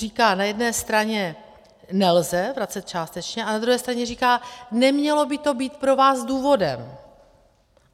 Říká na jedné straně: nelze vracet částečně, ale na druhé straně říká: nemělo by to být pro vás důvodem.